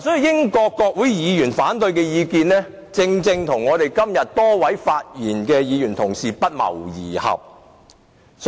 英國國會議員的反對意見，正正與今日多位同事的發言不謀而合。